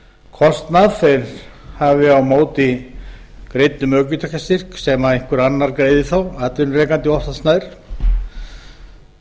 kostnað þeir hafa á móti greiddum ökutækjastyrk sem einhver annar greiðir þá atvinnurekandi oftast nær